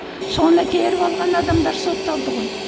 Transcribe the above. соны теріп алған адамдар сотталды ғой